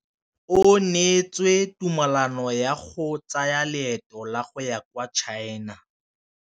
O neetswe tumalanô ya go tsaya loetô la go ya kwa China.